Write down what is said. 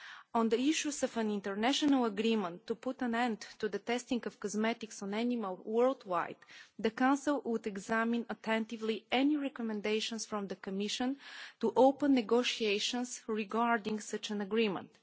On the issue of an international agreement to put an end to the testing of cosmetics on animals worldwide, the Council would examine attentively any recommendations from the Commission to open negotiations regarding such an agreement.